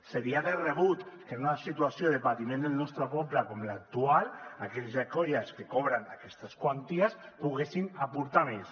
seria de rebut que en una situació de patiment del nostre poble com l’actual aquells i aquelles que cobren aquestes quanties poguessin aportar més